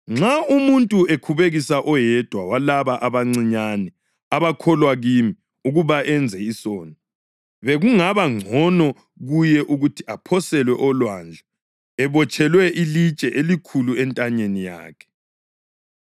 “Nxa umuntu ekhubekisa oyedwa walaba abancinyane abakholwa kimi ukuba enze isono, bekungaba ngcono kuye ukuthi aphoselwe olwandle ebotshelwe ilitshe elikhulu entanyeni yakhe.